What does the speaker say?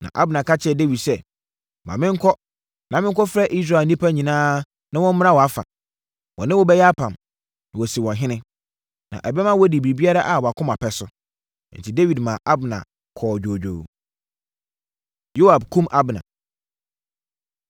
Na Abner ka kyerɛɛ Dawid sɛ, “Ma menkɔ na menkɔfrɛ Israel nnipa nyinaa na wɔmmra wʼafa. Wɔne wo bɛyɛ apam, na wɔasi wo ɔhene. Na ɛbɛma woadi biribiara a wʼakoma pɛ so.” Enti, Dawid maa Abner kɔɔ dwoodwoo. Yoab Kum Abner